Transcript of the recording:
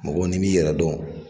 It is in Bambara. Mɔgɔ n'i b'i yɛrɛ dɔn